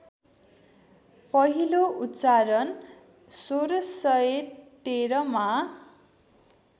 पहिलो उच्चारण १६१३मा